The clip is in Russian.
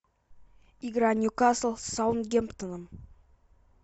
игра нью касл с саутгемптоном